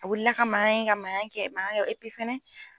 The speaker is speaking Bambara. A wili ka mangan mangan mangan kɛ epi fɛnɛ